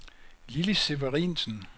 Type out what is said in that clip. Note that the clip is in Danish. Lilli Severinsen